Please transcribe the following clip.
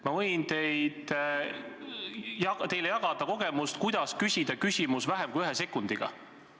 Ma võin teile jagada kogemust, kuidas küsida küsimus vähem kui ühe sekundiga.